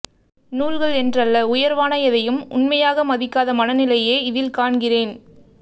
நூல்கள் என்றல்ல உயர்வான எதையும் உண்மையாக மதிக்காத மனநிலையையே இதில் காண்கிறேன்